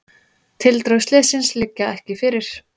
Tildrög slyssins liggja ekki fyrir.